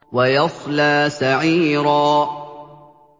وَيَصْلَىٰ سَعِيرًا